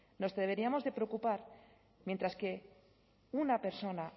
nos deberíamos de preocupar mientras que una persona